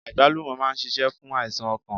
Àgbálùmọ̀ máa n sisé fún àìsàn okàn